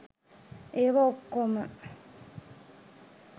ඒවා ඔක්‌කෝම